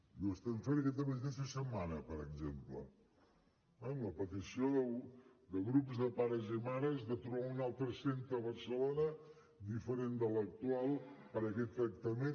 i ho estem fent aquesta mateixa setmana per exemple amb la petició de grups de pares i mares de trobar un altre centre a barcelona diferent de l’actual per a aquest tractament